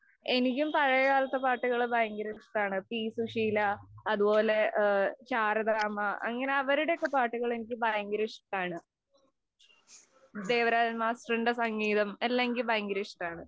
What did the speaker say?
എനിക്കും പഴയകാലത്തെ പാട്ടുകള്‍ ഭയങ്കര ഇഷ്ടാണ്. പി. സുശീല, അതുപോലെ ശാരദാമ്മ അങ്ങനെ അവരുടെയൊക്കെ പാട്ടുകള്‍ എനിക്ക് ഭയങ്കര ഇഷ്ടാണ്. ദേവരാജന്‍ മാസ്റ്ററിന്‍റെ സംഗീതം എല്ലാം എനിക്ക് ഭയങ്കര ഇഷ്ടാണ്.